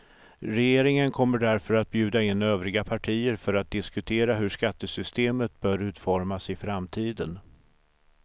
Regeringen kommer därför att bjuda in övriga partier för att diskutera hur skattesystemet bör utformas i framtiden.